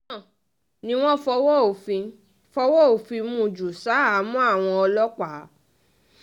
lẹ́yìn náà ni wọ́n fọwọ́ òfin fọwọ́ òfin mú un ju ṣahámọ́ àwọn ọlọ́pàá